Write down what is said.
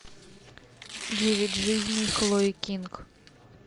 девять жизней хлои кинг